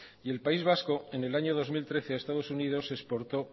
y el país vasco en el año dos mil trece a estados unidos exportó